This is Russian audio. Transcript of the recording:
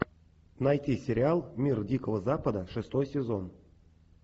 найти сериал мир дикого запада шестой сезон